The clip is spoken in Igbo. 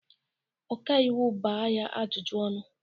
Ọka iwu gbaa ya ajụjụ ọnụ!